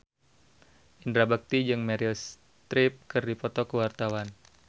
Indra Bekti jeung Meryl Streep keur dipoto ku wartawan